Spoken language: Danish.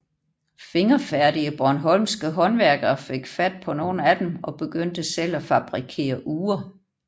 Fingerfærdige bornholmske håndværkere fik fat på nogle af dem og begyndte selv at fabrikere ure